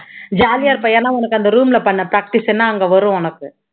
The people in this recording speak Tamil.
jolly ஆ இருப்ப ஏன்னா உனக்கு அந்த room ல பண்ண practise தானே அங்க வரும் உனக்கு